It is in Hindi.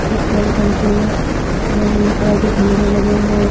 पेट्रोल टंकी में नीले नीले कलर के खंभे लगे हुए हैं।